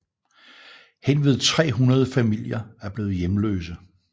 Henved 300 familier er blevet hjemløse